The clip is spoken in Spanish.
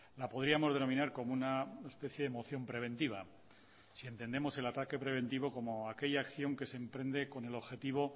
la podríamos denominar como una especie de moción preventiva si entendemos el ataque preventivo como aquella acción que se emprende con el objetivo